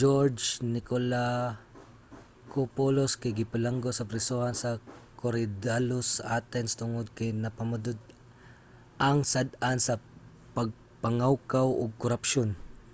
geroge nikolakopoulos kay gibilanggo sa prisohan sa korydallus sa athens tungod kay napamatud-ang sad-an sa pagpangawkaw ug korapsyon